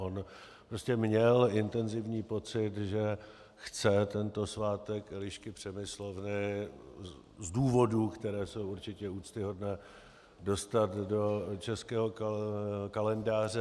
On prostě měl intenzivní pocit, že chce tento svátek Elišky Přemyslovny z důvodů, které jsou určitě úctyhodné, dostat do českého kalendáře.